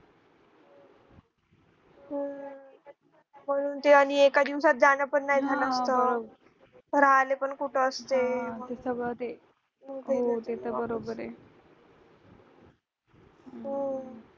पण ते आणि एका दिवसात जाणं पण नाही झालं असतं राहिले पण कुठे असते ते सगळं ते